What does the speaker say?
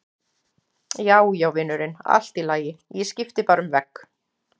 Já, já, vinurinn, allt í lagi, ég skipti bara um vegg.